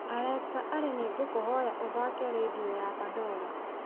alexa ally nĩ ngũkũhoya ũthaake rĩndiũ ya pandora